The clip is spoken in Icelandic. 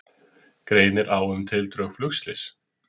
Greinir á um tildrög flugslyss